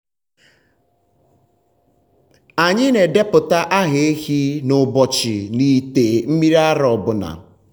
anyị na-edepụta aha ehi na ụbọchị n’ite mmiri ara ọ bụla.